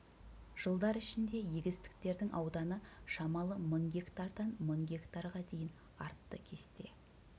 жылдар ішінде егістіктердің ауданы шамалы мың гектардан мың гектарға дейін артты кесте